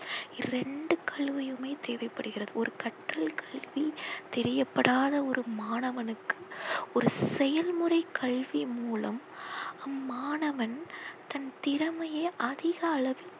ரெண்டு கல்வியுமே தேவைப்படுகிறது. ஒரு கற்றல் கல்வி தெரியப்படாத ஒரு மாணவனுக்கு ஒரு செயல்முறை கல்வி மூலம் அம்மாணவன் தன் திறமையை அதிக அளவில்